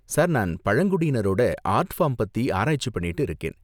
Sir, நான் பழங்குடியினரோட art form பத்தி ஆராய்ச்சி பண்ணிட்டு இருக்கேன்.